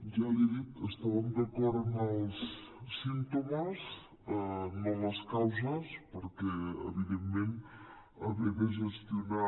ja l’hi he dit estàvem d’acord en els símptomes no en les causes perquè evidentment haver de gestionar